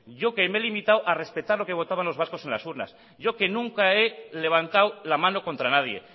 yo que me he limitado a respetar lo que votaban los vascos en las urnas yo que nunca he levantado la mano contra nadie